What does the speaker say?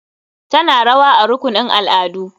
Tana rawa a rukunin al'adu.